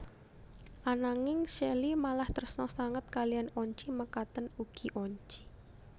Ananging Shelly malah tresna sanget kaliyan Oncy mekaten ugi Oncy